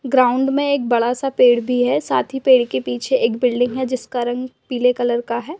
Ground में एक बड़ा सा पेड़ भी है। साथ ही पेड़ के पीछे एक बिल्डिंग है जिसका रंग पीले कलर का है।